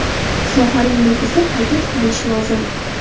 Sohaning nufuzi qayta tiklanishi lozim.